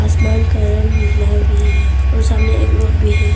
आसमान का रंग नीला भी है और सामने एक रोड भी है।